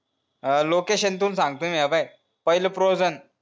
अ location इथून सांगतो हे पाहें पहिले frozen